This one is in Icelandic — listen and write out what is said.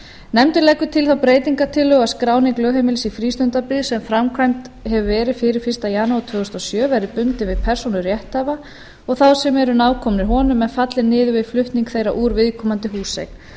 nefndin leggur til þá breytingartillögu að skráning lögheimilis í frístundabyggð sem framkvæmd hefur verið fyrir fyrsta janúar tvö þúsund og sjö verði bundin við persónu rétthafa og þá sem eru nákomnir honum en falli niður við flutning þeirra úr viðkomandi húseign